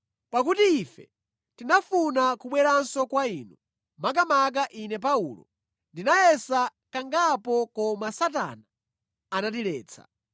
Pakuti ife tinafuna kubweranso kwa inu, makamaka ine Paulo, ndinayesa kangapo koma Satana anatiletsa.